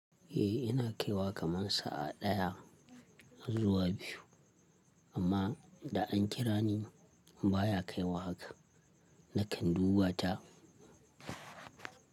Eh, ina kaiwa kaman sa’a ɗaya zuwa biyu, amma da an kira ni baya kaiwa haka. Nakan duba ta.